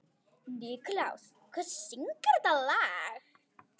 Nikulás, hver syngur þetta lag?